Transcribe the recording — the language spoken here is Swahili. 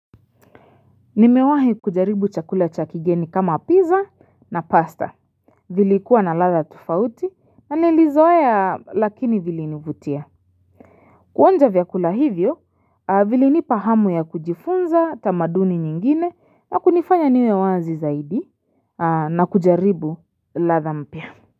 Nimewahi kujaribu chakula cha kigeni kama pizza na pasta vilikuwa na ladha tofauti na nilizoea lakini vilinivutia kuonja vyakula hivyo vilinipa hamu ya kujifunza tamaduni nyingine na kunifanya niwe wazi zaidi na kujaribu ladha mpya.